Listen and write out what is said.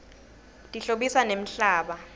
tihlobisa nemhlaba